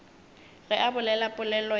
ge a bolela polelo ya